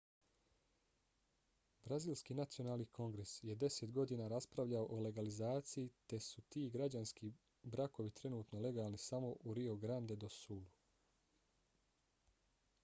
brazilski nacionalni kongres je 10 godina raspravljao o legalizaciji te su ti građanski brakovi trenutno legalni samo u rio grande do sulu